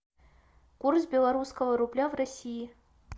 курс белорусского рубля в россии